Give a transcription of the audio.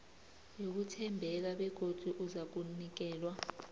yokuthembeka begodu uzakunikelwa